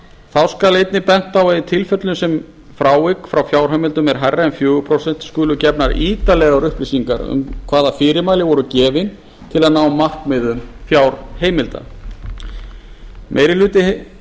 þá skal einnig bent á að í þeim tilfellum sem frávik frá fjárheimildum eru meiri en fjögur prósent skulu gefnar ítarlegar upplýsingar um hvaða fyrirmæli voru gefin til að ná markmiðum fjárheimilda meiri hluti